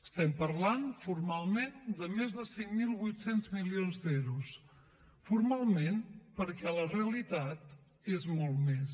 estem parlant formalment de més de cinc mil vuit cents milions d’euros formalment perquè a la realitat és molt més